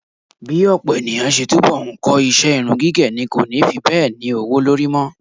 Bí ọ̀pọ̀ ènìyàn ṣe túbọ̀ ń kọ iṣẹ́ irun gígẹ̀ ni kò ni fi bẹ́ẹ̀ ní owó lórí mọ́.